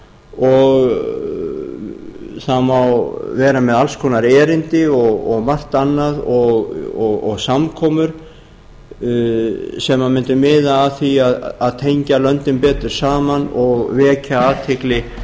og það má vera með alls konar erindi og margt annað og samkomur sem mundu miða að því að tengja löndin betur saman og vekja athygli